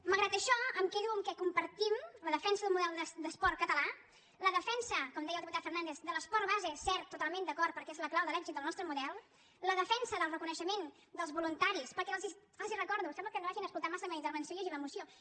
malgrat això em quedo amb el fet que compartim la defensa d’un model d’esport català la defensa com deia el diputat fernàndez de l’esport base cert totalment d’acord perquè és la clau de l’èxit del nostre model la defensa del reconeixement dels voluntaris perquè els recordo sembla que no hagin escoltat massa la meva intervenció llegint la moció